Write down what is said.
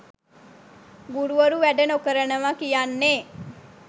ගුරුවරු වැඩ නොකරනව කියන්නෙ